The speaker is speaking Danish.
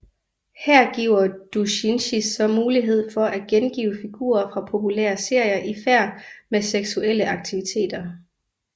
Her giver doujinshi så mulighed for at gengive figurer fra populære serier i færd med seksuelle aktiviteter